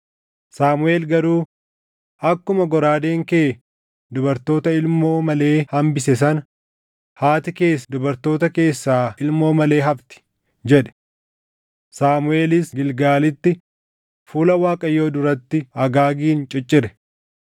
Saamuʼeel garuu, “Akkuma goraadeen kee dubartoota ilmoo malee hambise sana, haati kees dubartoota keessaa ilmoo malee hafti” jedhe. Saamuʼeelis Gilgaalitti fuula Waaqayyoo duratti Agaagin ciccire.